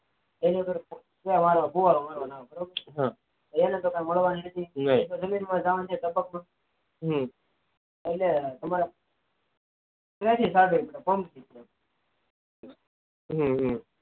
જમીન માં જવાની નથી ટપક પદ્ધતિ એટલે કે તમારે ટપક માં ફુવારા મારવાના હોય જમીન માં એટલ કે તમારી